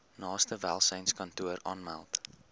naaste welsynskantoor aanmeld